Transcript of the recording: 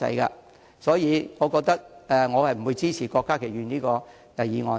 因此，我不會支持郭家麒議員的議案。